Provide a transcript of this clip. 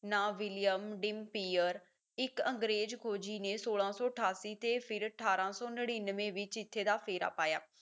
ਨਾਂ William Dampier ਇੱਕ ਅੰਗਰੇਜ਼ ਖੋਜੀ ਨੇ ਸੋਲਾਂ ਸੌ ਅਠਾਸੀ ਤੇ ਫਿਰ ਅਠਾਰਾਂ ਸੌ ਨੜੀਂਨਵੇਂ ਵਿੱਚ ਇੱਥੇ ਦਾ ਫੇਰ ਪਾਇਆ